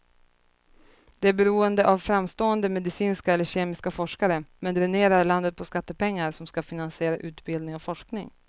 Det är beroende av framstående medicinska eller kemiska forskare, men dränerar landet på skattepengar som ska finansiera utbildning och forskning.